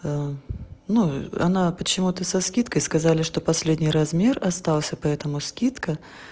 ну она почему-то со скидкой сказали что последний размер остался поэтому скидка